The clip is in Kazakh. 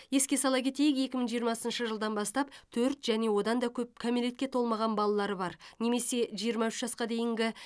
еске сала кетейік екі мың жиырмасыншы жылдан бастап төрт және одан да көп кәмелетке толмаған балалары бар немесе жиырма үш жасқа дейінгі